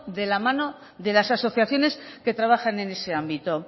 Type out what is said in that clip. de la mano de las asociaciones que trabajan en este ámbito